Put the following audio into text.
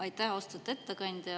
Aitäh, austatud ettekandja!